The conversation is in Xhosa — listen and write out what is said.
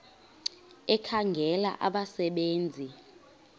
ekhangela abasebe nzi